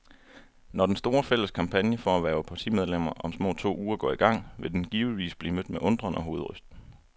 Når den store, fælles kampagne for at hverve partimedlemmer om små to uger går i gang, vil den givetvis blive mødt med undren og hovedrysten.